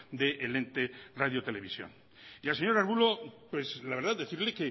del ente radio televisión y al señor arbulo la verdad decirle